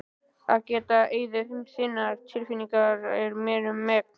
Að geta í eyður þinna tilfinninga er mér um megn.